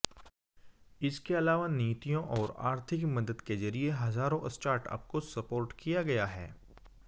इसके अलावा नीतियों और आर्थिक मदद के जरिए हजारों स्टार्टअप को सपोर्ट किया गया है